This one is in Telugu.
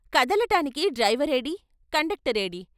కదలటానికి డ్రైవరేడీ కండక్ట రేడీ?